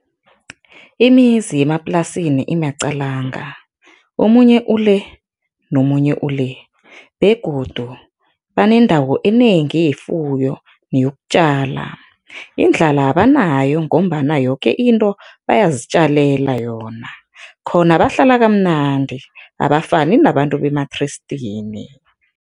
Imizi yemaplasini imaqalanga, omunye ule nomunye le begodu banendawo enengi yefuyo neyokutjala. Indlala abanayo ngombana yoke into bayazitjalela yona. Khona bahlala kamnandi, abafani nabantu bemathrestini.